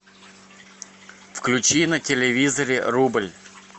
включи на телевизоре рубль